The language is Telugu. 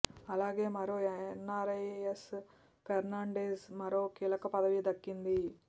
అలాగే మరో ఎన్నారై ఎస్ ఫెర్నాండెజ్ మరో కీలక పదవి దక్కింది